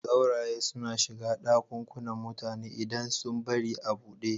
Sauraye suna shiga ɗakunan mutane idan sun bari a buɗe.